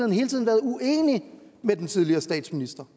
hele tiden været uenige med den tidligere statsminister